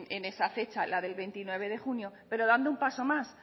en esa fecha la del veintinueve de junio pero dando un paso más